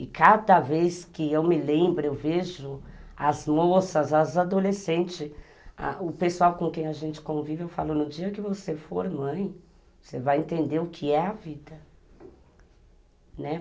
E cada vez que eu me lembro, eu vejo as moças, as adolescentes, ãh o pessoal com quem a gente convive, no dia que você for mãe, você vai entender o que é a vida, né.